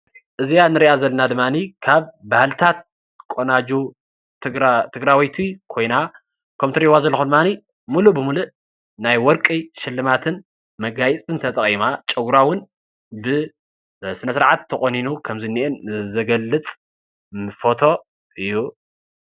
እዚኣ ንርእያ ዘለና ድማኒ ካብ ባህልታት ቖናጁ ትግራወይቲ ኮይና ከምቲ እትሪእዋ ዘለኩም ድማኒ ሙሉእ ብሙሉእ ናይ ወርቂ ሽልማትን መጋየፅን ተጠቂማ ጨጉራ እውን ብስነ ስርዓት ተቆኒኑ ከምዝኒአ ዝገልፅ ፎቶ እዩ።